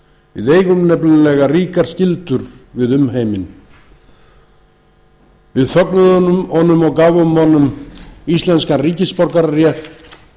við eigum nefnilega ríkar skyldur við umheiminn við fögnuðum honum og gáfum honum íslenskan ríkisborgararétt